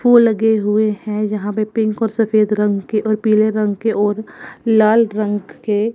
वो लगे हुए है जहां पे पिंक और सफेद रंग के और पीले रंग के और लाल रंग के--